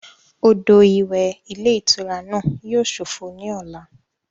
Odò ìwẹ̀ ilé ìtura náà yíò sófo ní ọ̀la